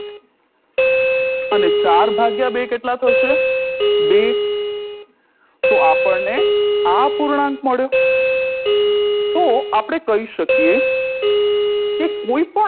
અને ચાર ભાગ્યા બે કેટલા થશે બે તો આપરને આ પૂર્ણાંક મળ્યો તો આપણે કહી શકીએ કે કોઈ પણ